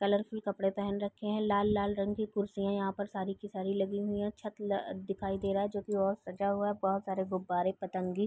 Colourful कपड़े पहन रखे हैं। लाल लाल रंग की कुर्सियां यहाँ पर सारी की सारी लगी हुई है। छत ल दिखाई दे रहा है जोकि और सजा हुआ है। बहोत सारे गुबारे पतंगी --